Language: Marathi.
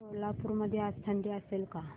सोलापूर मध्ये आज थंडी असेल का